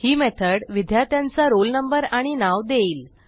ही method विद्यार्थ्यांचा roll number आणि नाव देईल